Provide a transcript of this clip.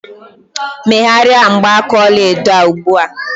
Megharịa mgbaaka ọla edo a ugbu a!